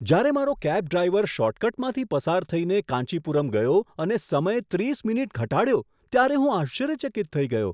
જ્યારે મારો cab driver શોર્ટકટમાંથી પસાર થઈને કાંચીપુરમ ગયો અને સમય ત્રીસ મિનિટ ઘટાડ્યો ત્યારે હું આશ્ચર્યચકિત થઈ ગયો!